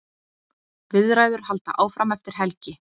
Viðræður halda áfram eftir helgi.